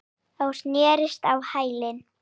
Ég snerist á hæli.